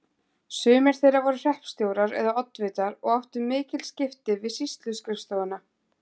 Sumir þeirra voru hreppstjórar eða oddvitar og áttu mikil skipti við sýsluskrifstofuna.